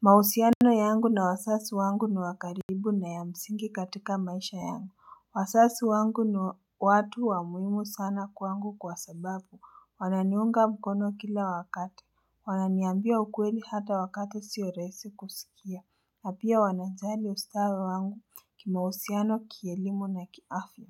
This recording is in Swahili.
Mahusiano yangu na wasasi wangu ni wa karibu na ya msingi katika maisha yangu Wasasi wangu ni watu wa muhimu sana kwangu kwa sababu wananiunga mkono kila wakata Wananiambia ukweli hata wakata sio rahisi kusikia na pia wanajali ustawi wangu kimahusiano kielimu na kiafya